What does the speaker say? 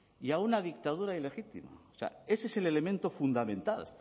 y a una dictadura ilegítima o sea ese es el elemento fundamental